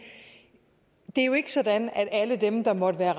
er jo ikke sådan at alle dem der måtte være